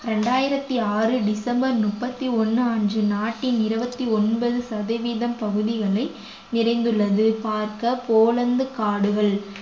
இரண்டாயிரத்தி ஆறு டிசம்பர் முப்பத்தி ஒண்ணு அன்று நாட்டின் இருபத்தி ஒன்பது சதவீதம் பகுதிகளில் நிறைந்துள்ளது பார்க்க போலந்து காடுகள்